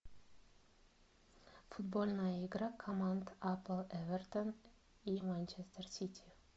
футбольная игра команд апл эвертон и манчестер сити